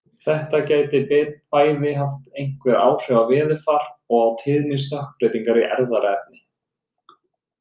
Þetta gæti bæði haft einhver áhrif á veðurfar og á tíðni stökkbreytinga í erfðaefni.